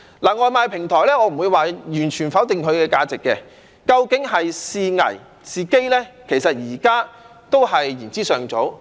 對於外賣平台，我不會完全否定它的價值，究竟是危是機？現在都言之尚早。